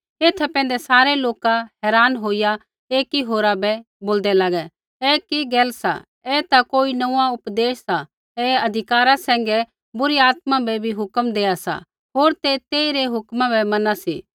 एथा पैंधै सारै लोका हैरान होईया एकी होरा बै बोलदै लागै ऐ कि गैल सा ऐ ता कोई नोंऊँआं उपदेश सा ऐ अधिकारा सैंघै बुरी आत्मा बै भी हुक्म देआ सा होर ते तेइरी हुक्म बै मैना सी